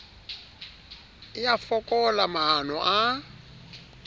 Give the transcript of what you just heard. e a fokola maano a